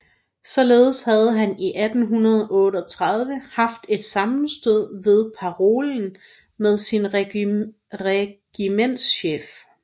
Således havde han i 1838 haft et sammenstød ved parolen med sin regimentschef